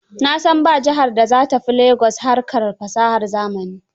Na san ba jihar da za ta fi Lagos harkar fasahar zamani